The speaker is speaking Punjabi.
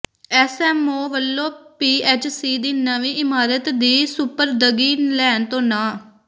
ਐਸਐਮਓ ਵੱਲੋਂ ਪੀਐਚਸੀ ਦੀ ਨਵੀਂ ਇਮਾਰਤ ਦੀ ਸਪੁਰਦਗੀ ਲੈਣ ਤੋਂ ਨਾਂਹ